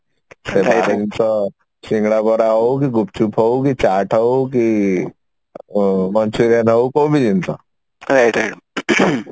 ଖାଇବା ଜିନିଷ ଶିଙ୍ଗଡା ବରା ହଉ କି ଗୁପ୍ଚୁପ ହଉ କି ଚାଟ ହଉ କି ଆଁ Manchurian ହଉ କୋଉ ବି ଜିନିଷ ing